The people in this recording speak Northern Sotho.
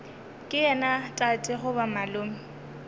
ke yena tate goba malome